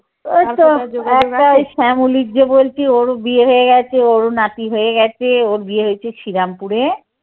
ওই তো একটা শ্যামলীর যে বলছি, ওরও বিয়ে হয়ে গেছে ওরও নাতি হয়ে গেছে। ওর বিয়ে হয়েছে শ্রীরামপুরে।